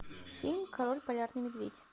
фильм король полярный медведь